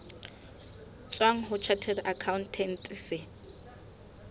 tswang ho chartered accountant se